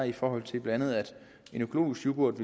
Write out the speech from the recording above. i forhold til blandt andet en økologisk yoghurt